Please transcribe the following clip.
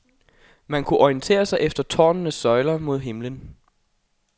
Man kunne orientere sig efter tårnenes søjler mod himlen.